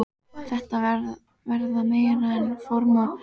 Þetta verða meira en frómar óskir.